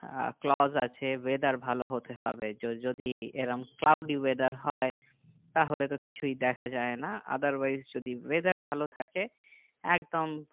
আহ cloth আছে weather ভালো হতে হবে যো যদি এইরকম cloudy weather হয় তাহলে তো কিছুই দেখা যায়না otherwise যদি weather ভালো থাকে একদম